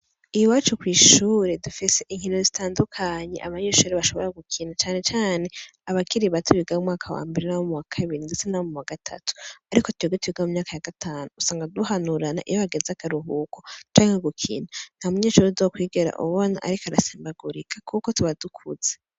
Iyi wacu kw'ishure dufise inkino zitandukanyi abanyishori bashobora gukina canecane abakiri ba tu bigamweaka wambere na bo mu wa kabiri ndutse na bo mu ba gatatu, ariko tyogete iwiga mu myaka ya gatanu usanga duhanurana iyo bageze agaruhuko canke ku gukina nta munyecuru udo kwigera ububona, ariko arasembagurika, kuko tubadukuze.